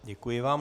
Děkuji vám.